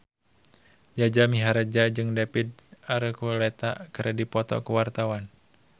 Jaja Mihardja jeung David Archuletta keur dipoto ku wartawan